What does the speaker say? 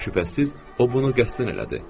Şübhəsiz, o bunu qəsdən elədi.